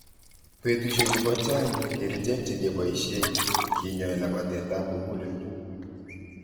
Betushechu kochaang' kerccheek chegeboishee kenyoi labatet ap muguleldo.